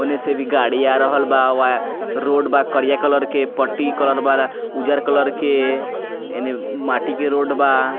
ओने से भी गाड़ी आ रहल बा रोड बा करिया कलर के पट्टी कलर बा उज्जर कलर के एने माटी के रोड बा।